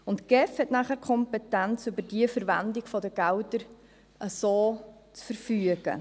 Die GEF hat nachher die Kompetenz, über die Verwendung der Gelder so zu verfügen.